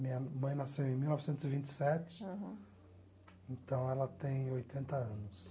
Minha mãe nasceu em mil novecentos e vinte e sete. Aham. Então ela tem oitenta anos.